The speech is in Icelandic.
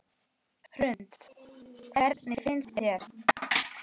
Hrund: Hvernig finnst þér?